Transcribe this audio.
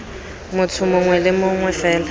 motho mongwe le mongwe fela